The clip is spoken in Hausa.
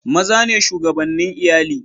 Maza ne shugabane Iyalli.